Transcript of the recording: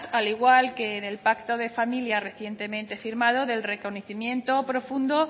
al igual que en el pacto de familia recientemente firmado del reconocimiento profundo